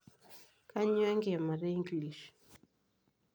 Kanyioo enkiimata e English?